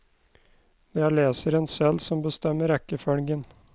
Det er leseren selv som bestemmer rekkefølgen.